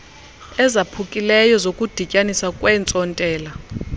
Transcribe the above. ezaphukileyo zokudityaniswa kweentsontela